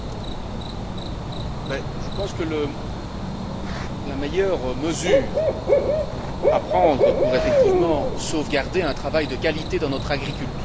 Je pense que la meilleure mesure à prendre pour sauvegarder un travail de qualité dans notre agriculture est de continuer à la soutenir.